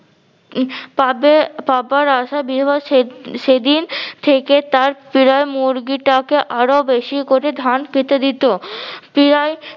উম পাবে পাবার আশায় বৃহ সে সেদিন থেকে তার পিরায় মুরগীটাকে আরো বেশি করে ধান খেতে দিতো। পীড়ায়